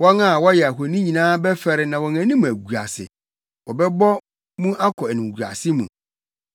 Wɔn a wɔyɛ ahoni nyinaa bɛfɛre na wɔn anim agu ase; wɔbɛbɔ mu akɔ animguase mu.